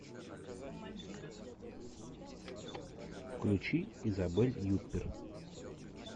включи изабель юппер